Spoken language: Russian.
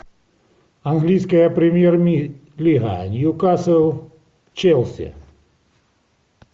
английская премьер лига ньюкасл челси